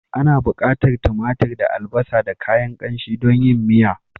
Ana bukatar timatir da albasa da kayan kanshi don yin miya.